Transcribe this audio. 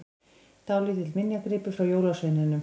Dálítill minjagripur frá jólasveininum!